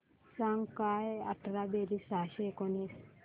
सांग काय अठरा बेरीज सहाशे एकोणीस